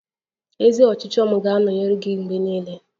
Ezi ọchịchọ m ga-anọnyere gị mgbe niile.